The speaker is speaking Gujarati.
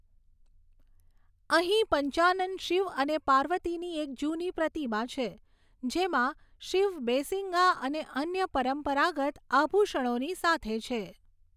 અહીં પંચાનન શિવ અને પાર્વતીની એક જૂની પ્રતિમા છે, જેમાં શિવ બેસિંગા અને અન્ય પરંપરાગત આભૂષણોની સાથે છે.